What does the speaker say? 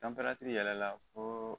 yɛrɛ la koo